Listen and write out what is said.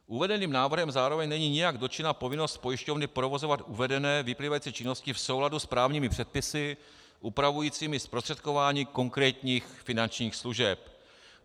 Uvedeným návrhem zároveň není nijak dotčena povinnost pojišťovny provozovat uvedené vyplývající činnosti v souladu s právními předpisy upravujícími zprostředkování konkrétních finančních služeb.